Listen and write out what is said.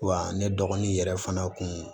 Wa ne dɔgɔnin yɛrɛ fana kun